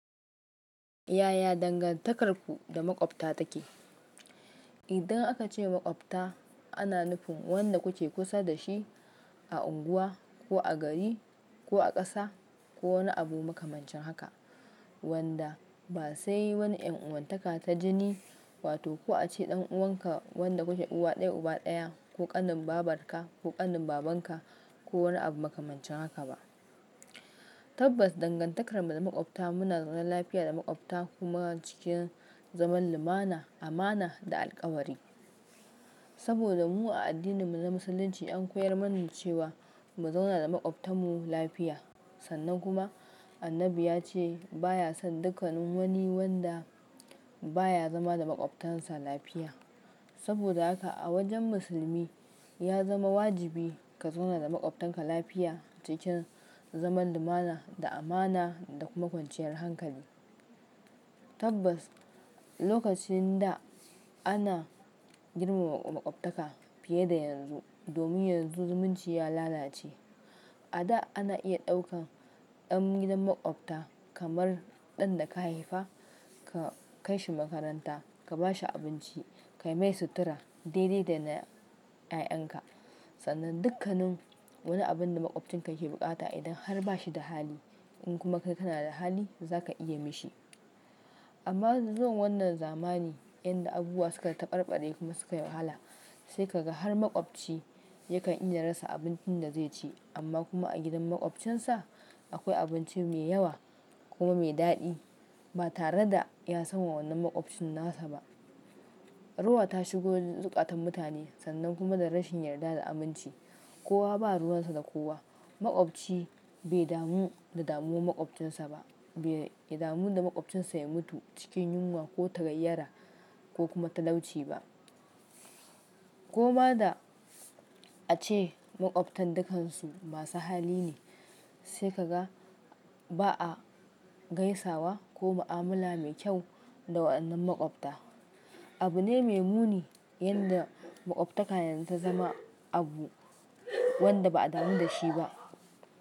Yaya dangantakarku da maƙwabta take? Idan aka ce maƙwabta, ana nufin wanda kuke kusa da shi a unguwa ko a gari ko a ƙasa ko wani abu makamancin haka, wanda ba sai wani ƴan'uwantaka ta jini, wato ko a ce ɗan uwanka wanda kuke uba ɗaya uba ɗaya ko ƙanin babarka ko ƙanin babanka ko wani abu makamancin haka ba. Tabbas dangantakarmu da makwabta muna zaune lafiya da makwabta kuma cikin zaman lumana, amana da alkawari. Saboda mu a addininmu na Musulunci an koyar manmu cewa mu zauna da makwabtanmu lafiya. Sannan kuma Annabi ya ce baya son dukkanin wani wanda baya zama da makwabtansa lafiya. Saboda haka a wajen musulmi ya zama wajibi ka zauna da makwabtanka lafiya cikin zaman lumana da amana da kuma kwanciyar hankali. Tabbas, lokacin da ana girmama makwabtaka fiye da yanzu, domin yanzu zumunci ya lalace. A da ana iya ɗaukan ɗan gidan makwabta kamar ɗan da ka haifa, ka kai shi makaranta, ka ba shi abinci, kayi mai sutura dai dai dai na 'ya'yanka. Sannan dukkanin wani abin da makwabcinka yake bukata idan har ba shi da hali, in kuma kai kana da hali, za ka iya yi mishi. Amma zuwan wannan zamani inda abubuwa suka taɓarɓare kuma suka yi wahala, sai ka ga har makwabci yakan iya rasa abincin da zai ci, amma kuma a gidan makwabcinsa akwai abinci mai yawa kuma mai daɗi ba tare da ya sanwa wannan makwabcin nasa ba. Rowa ta shigo zukatan mutane sannan kuma da rashin yarda da aminci. Kowa ba ruwansa da kowa. Makwabci bai damu da damuwar makwabcinsa ba, bai damu da makwabcinsa ya mutu cikin yunwa ko tagayyara ko kuma talauci ba. Koma da a ce makwabtan dukansu masu hali ne, sai ka ga ba a gaisawa ko mu'amala mai kyau da waɗannan makwabta. Abu ne mai muni yanda makwabtaka yanzu ta zama abu wanda ba a damu da shi ba.